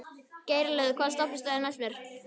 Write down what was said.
Geirlöð, hvaða stoppistöð er næst mér?